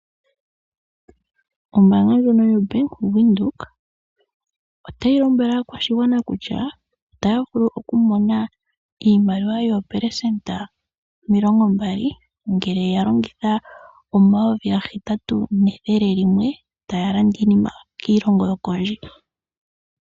Ombaanga ndjono yoBank Windhoek otayi lombwele aakwashigwana kutya otaya vulu okumona iimaliwa yoopelesenda omilongo mbali ngele ya longitha omayovi gahetatu nethele limwe taya landa iinima kiilongo yokodje.